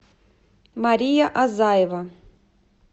мария азаева